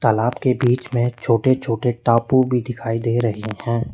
तालाब के बीच में छोटे छोटे टापू भी दिखाई दे रहे हैं।